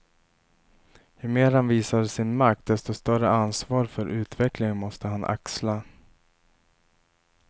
Ju mer han visar sin makt desto större ansvar för utvecklingen måste han axla.